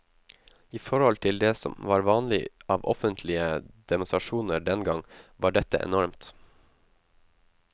I forhold til det som var vanlig av offentlige demonstrasjoner dengang, var dette enormt.